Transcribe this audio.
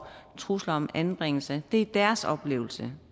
trusler om anbringelse det er deres oplevelse